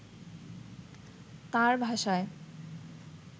তাঁর ভাষায়